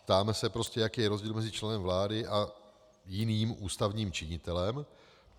Ptáme se, jaký je rozdíl mezi členem vlády a jiným ústavním činitelem.